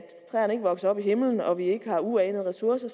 træerne ikke vokser ind i himlen og vi ikke har uanede ressourcer